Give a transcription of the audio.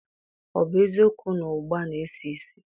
O bu eziokwu na ugba na-esi isi?